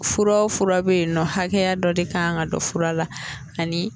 Fura o fura bɛ yen nɔ hakɛya dɔ de kan ka don fura la ani